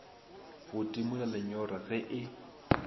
go timola lenyora ge e